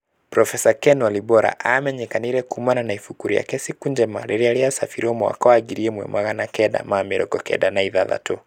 Profesa Ken Walibora amenyekanire kumana na ibuku rĩake Siku Njema rĩrĩa rĩacabĩrwo mwaka wa ngiri ĩmwe magana kenda ma mĩrongo kenda na ithathatũ.